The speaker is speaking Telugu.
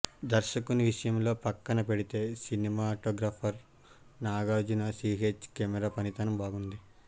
దర్శకుని విషయం పక్కన పెడితే cinematographer Nagarjuna C H camera పనితనం బాగుంది